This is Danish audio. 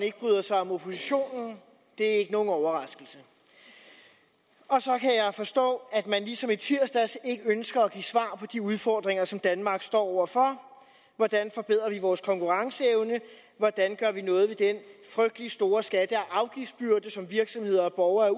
ikke bryder sig om oppositionen det er ikke nogen overraskelse og så kan jeg forstå at man ligesom i tirsdags ikke ønsker at give svar på de udfordringer som danmark står over for hvordan forbedrer vi vores konkurrenceevne hvordan gør vi noget ved den frygtelig store skatte og afgiftsbyrde som virksomheder og borgere er